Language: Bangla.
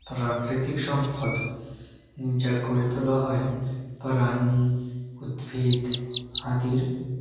প্রাকৃতিক সম্পদ যা গড়ে তোলা হয় প্রাণী উদ্ভিদ আদির--